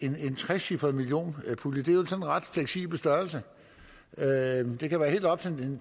en trecifret millionpulje det er jo en ret fleksibel størrelse det kan være helt op